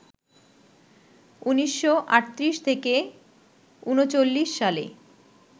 ১৯৩৮-৩৯ সালে